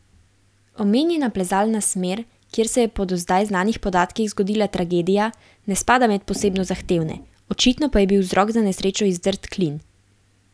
Omenjena plezalna smer, kjer se je po do zdaj znanih podatkih zgodila tragedija, ne spada med posebno zahtevne, očitno pa je bil vzrok za nesrečo izdrt klin.